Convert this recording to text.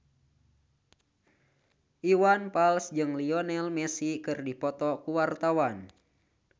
Iwan Fals jeung Lionel Messi keur dipoto ku wartawan